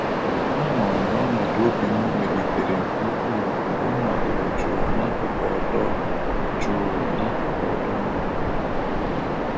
A hụrụ m na ọnọdụ obi m melitere nke ukwuu mgbe m nọdụrụ jụụ n'akụkụ ọdọ jụụ n'akụkụ ọdọ mmiri.